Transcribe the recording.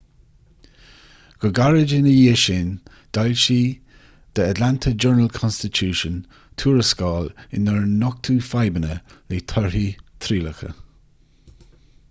go gairid ina dhiaidh sin d'fhoilsigh the atlanta journal-constitution tuarascáil inar nochtadh fadhbanna le torthaí trialacha